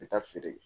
N bɛ taa feere kɛ